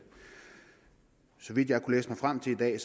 så vidt jeg kunne læse mig frem til i dag